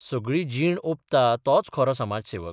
सगळी जीण ऑपता तोच खरो समाजसेवक.